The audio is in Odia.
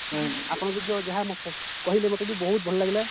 ଆପଣଙ୍କର ବି ଯାହା ମତ କହିଲେ ମତେ ବି ବହୁତ ଭଲ ଲାଗିଲା